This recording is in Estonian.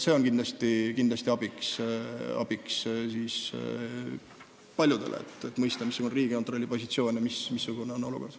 See on kindlasti paljudele abiks, et mõista, missugune on Riigikontrolli positsioon ja milline on üldse olukord.